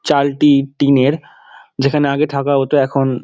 চালটি টিনের যেখানে আগে থাকা হতো এখন--